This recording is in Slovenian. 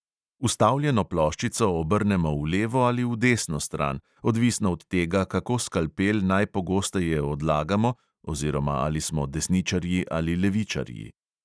Vstavljeno ploščico obrnemo v levo ali v desno stran, odvisno od tega, kako skalpel najpogosteje odlagamo oziroma ali smo desničarji ali levičarji.